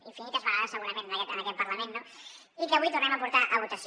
infinites vegades segurament en aquest parlament no i que avui tornem a portar a votació